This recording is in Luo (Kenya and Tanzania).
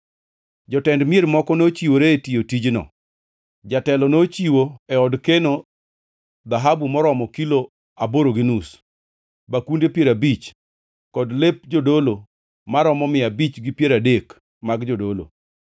Jotend mier moko nochiwore tiyo tijno. Jatelo nochiwo e od keno dhahabu moromo kilo aboro gi nus, bakunde piero abich kod lep jodolo maromo mia abich gi piero adek mag jodolo.